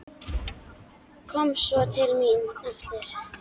Kom svo til mín aftur.